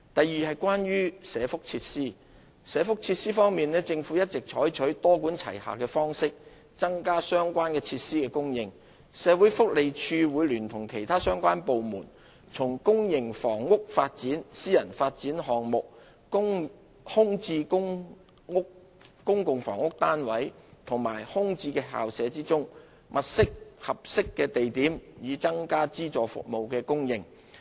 二社福設施在社福設施方面，政府一直採取多管齊下的方式增加相關設施的供應。社會福利署會聯同其他相關部門，從公營房屋發展、私人發展項目、空置公共房屋單位及空置校舍中物色合適地點，以增加資助服務的供應。